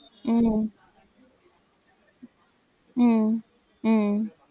உம் உம் உம்